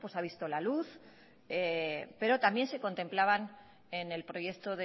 ha visto la luz pero también se contemplaban en el proyecto